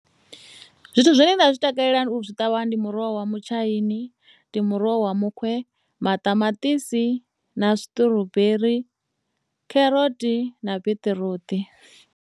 Zwithu zwine nda zwi takalela u zwi ṱavha ndi muroho wa mutshaini ndi muroho wa muxe, maṱamaṱisi na zwi strawberry kheroti na biṱiruṱi.